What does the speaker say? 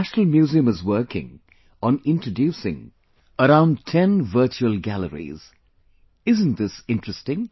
National museum is working on introducing around ten virtual galleries isn't this interesting